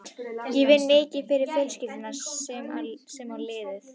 Ég vinn mikið fyrir fjölskylduna sem á liðið.